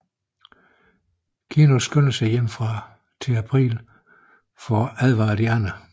Keno skynder sig hjem til April for at advare de andre